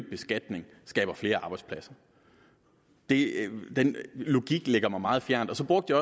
beskatning skaber flere arbejdspladser den logik ligger mig meget fjernt og så brugte